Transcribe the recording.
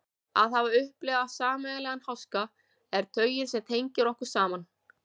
Að hafa upplifað sameiginlegan háska er taugin sem tengir okkur saman.